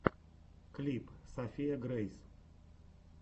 клип софия грейс